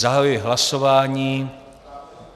Zahajuji hlasování.